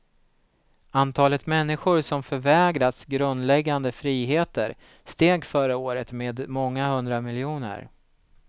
Antalet människor som förvägras grundläggande friheter steg förra året med många hundra miljoner.